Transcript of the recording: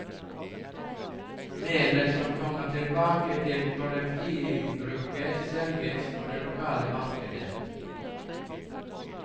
Melet som kommer tilbake til kollektivbruket, selges på det lokale markedet.